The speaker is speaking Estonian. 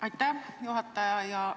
Aitäh, juhataja!